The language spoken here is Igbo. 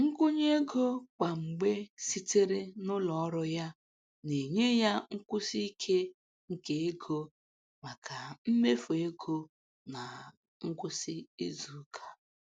Nkwụnye ego kwa mgbe sitere n'ọrụ ya na-enye ya nkwụsi ike nke ego maka mmefu ego ná ngwụsị izuụka.